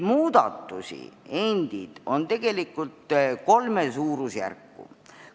Muudatusi on tegelikult kolme suurusjärku.